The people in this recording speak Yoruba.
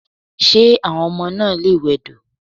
Ṣé àwọn ọmọ náà lè wẹdò?